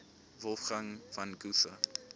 wolfgang von goethe